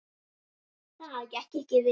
Það gekk ekki vel.